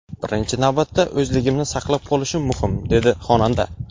Birinchi navbatda o‘zligimni saqlab qolishim muhim”, dedi xonanda.